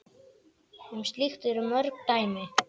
Um slíkt eru mörg dæmi.